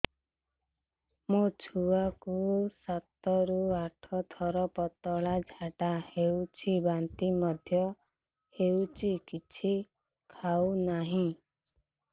ମୋ ଛୁଆ କୁ ସାତ ରୁ ଆଠ ଥର ପତଳା ଝାଡା ହେଉଛି ବାନ୍ତି ମଧ୍ୟ୍ୟ ହେଉଛି କିଛି ଖାଉ ନାହିଁ